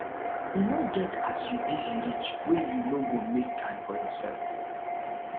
e no get as you busy reach wey you no go make time for yoursef